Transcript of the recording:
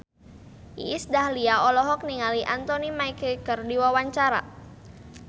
Iis Dahlia olohok ningali Anthony Mackie keur diwawancara